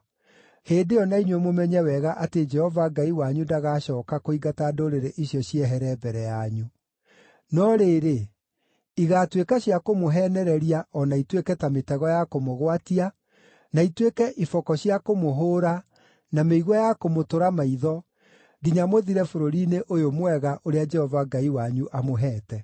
hĩndĩ ĩyo na inyuĩ mũmenye wega atĩ Jehova Ngai wanyu ndagacooka kũingata ndũrĩrĩ icio ciehere mbere yanyu. No rĩrĩ, igaatuĩka cia kũmũheenereria o na ituĩke ta mĩtego ya kũmũgwatia, na ituĩke iboko cia kũmũhũũra, na mĩigua ya kũmũtũra maitho, nginya mũthire bũrũri-inĩ ũyũ mwega, ũrĩa Jehova Ngai wanyu amũheete.